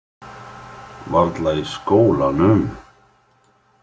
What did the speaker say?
Varla í skólanum?